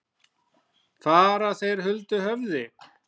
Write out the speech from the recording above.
Fara þeir huldu höfði?